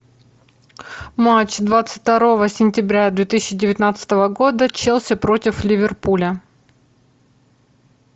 матч двадцать второго сентября две тысячи девятнадцатого года челси против ливерпуля